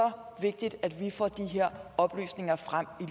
vigtigt at vi får de her oplysninger frem